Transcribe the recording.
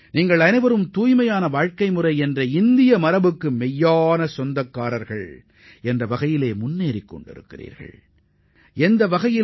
நீங்கள் அனைவரும் ஆரோக்கியமான வாழ்க்கை முறையைக் கொண்ட இந்திய பாரம்பரியத்தை முன்னெடுத்துச் செல்லும் உண்மையான வழித்தோன்றல்களாகத் திகழ்ந்து வருகிறீர்கள்